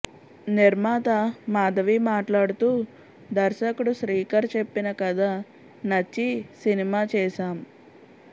నిర్మాత మాధవి మాట్లాడుతూ దర్శకుడు శ్రీకర్ చెప్పిన కథ నచ్చి సినిమా చేశాం